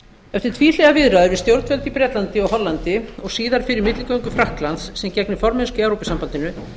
eftir tvíhliða viðræður við stjórnvöld í bretlandi og hollandi og síðar fyrir milligöngu frakklands sem gegnir formennsku í evrópusambandinu